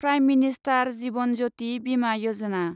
prime minister Jeevan Jyoti Bima Yojana